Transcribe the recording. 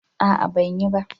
a'a ban yi ba